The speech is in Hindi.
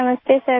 नमस्ते सर